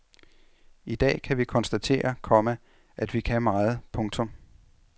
I dag kan vi konstatere, komma at vi kan meget. punktum